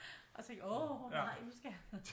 Og jeg tænkte åh nej nu skal jeg